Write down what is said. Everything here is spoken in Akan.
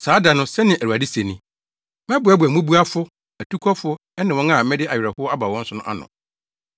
“Saa da no,” sɛnea Awurade se ni, “Mɛboaboa mmubuafo, atukɔfo ɛne wɔn a mede awerɛhow aba wɔn so ano.